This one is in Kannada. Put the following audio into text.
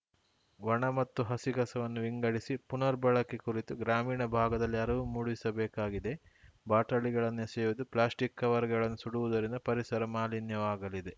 ಒಣ ಮತ್ತು ಹಸಿ ಕಸವನ್ನು ವಿಂಗಡಿಸಿ ಪುನರ್‌ ಬಳಕೆ ಕುರಿತು ಗ್ರಾಮೀಣ ಭಾಗದಲ್ಲಿ ಅರಿವು ಮೂಡಿಸಬೇಕಾಗಿದೆ ಬಾಟಲಿಗಳನ್ನು ಎಸೆಯುವುದು ಪ್ಲಾಸ್ಟಿಕ್‌ ಕವರ್‌ಗಳನ್ನು ಸುಡುವುದರಿಂದ ಪರಿಸರ ಮಾಲಿನ್ಯವಾಗಲಿದೆ